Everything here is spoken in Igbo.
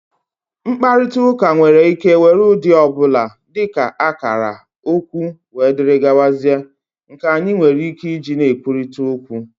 mkparịta ụka nwere ike were ụdị ọ bụla, dị ka akara, okwu wdg, nke anyị nwere ike iji na-ekwurịta okwu